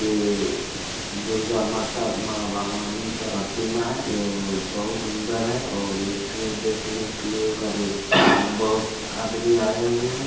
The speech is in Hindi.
ये दुर्गा माता माँ भवानी की प्रतिमा है जो बहुत सुन्दर है और इसे देखने के लिए आदमी आये है।